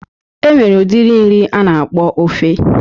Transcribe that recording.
E nwere udiri nri a na-akpọ ofe